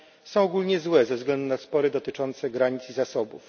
są ogólnie złe ze względu na spory dotyczące granic i zasobów.